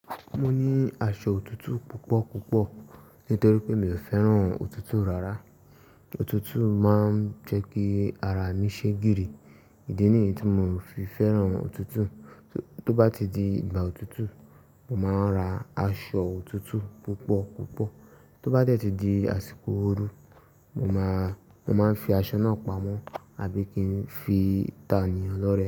Mo ní aṣọ òtútù púpọ̀ púpọ̀ nítorí pé mi ò fẹ́ràn òtútù rárá. Òtútù máa ń jẹ́ kí ara mi ṣé gírì. Ìdí nìyí tí mo fi fẹ́ràn òtútù. Tó bá ti di ìgbà òtútù, mo máa ra aṣọ òtútù púpọ̀ púpọ̀. Tó bá dẹ́ ti di àsìkò ooru, mo máa, mo máa ń fi aṣọ náà pamọ́ àbí kí ń fi tà ní ọlọ́rẹ̀ẹ́.